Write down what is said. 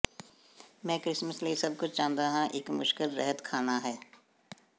ਮੈਂ ਕ੍ਰਿਸਮਸ ਲਈ ਸਭ ਕੁਝ ਚਾਹੁੰਦਾ ਹਾਂ ਇੱਕ ਮੁਸ਼ਕਲ ਰਹਿਤ ਖਾਣਾ ਹੈ